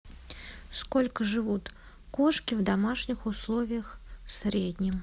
сколько живут кошки в домашних условиях в среднем